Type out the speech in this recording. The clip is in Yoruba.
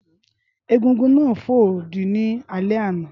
Égúngún náà fo odi ní alẹ́ àná